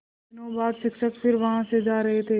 कुछ दिनों बाद शिक्षक फिर वहाँ से जा रहे थे